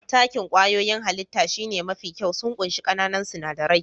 Takin kwayoyin hallita shine mafi kyau, sun ƙunshi ƙananan sinadarai.